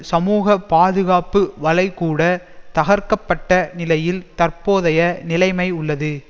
சமூக பாதுகாப்பு வலைகூட தகர்க்கப்பட்ட நிலையில் தற்போதைய நிலைமை உள்ளது